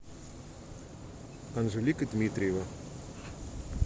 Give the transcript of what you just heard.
анжелика дмитриева